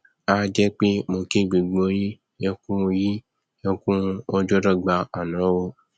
a jẹ pé mo kí gbogbo yín ẹkú yín ẹkú ọjọdọgba àná o